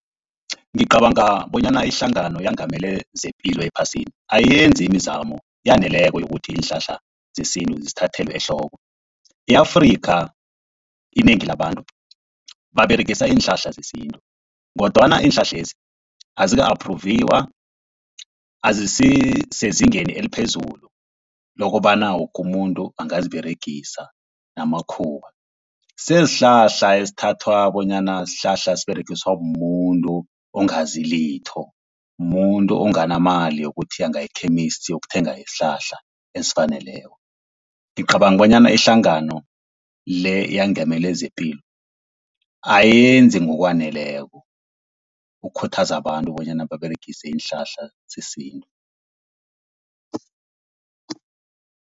Ngicabanga bonyana iHlangano eyaNgamele zePilo ePhasini ayenzi imizamo eyaneleko yokuthi iinhlahla zesintu zithathelwe ehloko. I-Afrika inengi labantu baberegisa iinhlahla zesintu kodwana iinhlahlezi azika aphruviwa, azisisezingeni eliphezulu lokobana woke umuntu angaziberegisa namakhuwa. Sesihlahla esithathwa bonyana sihlahla siberegiswa mumuntu ongazi litho, mumuntu onganamali yokuthi angaya e-chemist yokuthenga isihlahla ezifaneleko. Ngicabanga bonyana ihlangano le eyengamele zepilo ayenzi ngokwaneleko ukukhuthaza abantu bonyana baberegise iinhlahla zesintu.